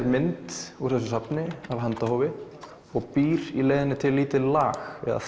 mynd úr þessu safni af handahófi og býr í leiðinni til lítið lag eða